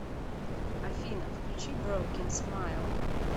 афина включи броукен смайл